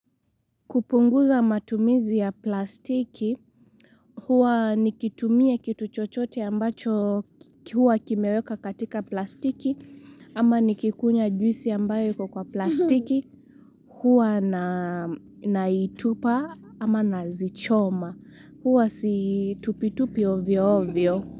Kupunguza matumizi ya plastiki, huwa nikitumia kitu chochote ambacho huwa kimeweka katika plastiki, ama nikikunywa juisi ambayo iko kwa plastiki, huwa na naitupa ama nazichoma, huwa situpitupi ovyo ovyo.